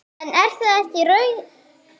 En er þetta raunin?